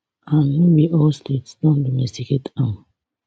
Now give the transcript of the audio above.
and no be all states don domesticate am